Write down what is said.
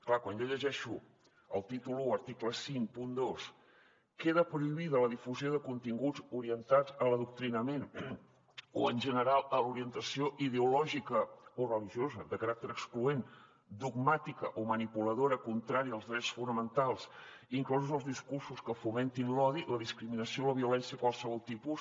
clar quan jo llegeixo el títol i article cinquanta dos queda prohibida la difusió de continguts orientats a l’adoctrinament o en general a l’orientació ideològica o religiosa de caràcter excloent dogmàtica o manipuladora contrària als drets fonamentals inclosos els discursos que fomentin l’odi la discriminació o la violència de qualsevol tipus